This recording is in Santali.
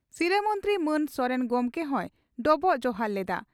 ᱥᱤᱨᱟᱹ ᱢᱚᱱᱛᱨᱤ ᱢᱟᱱ ᱥᱚᱨᱮᱱ ᱜᱚᱢᱠᱮ ᱦᱚᱭ ᱰᱚᱵᱚᱜ ᱡᱚᱦᱟᱨ ᱞᱮᱫᱼᱟ ᱾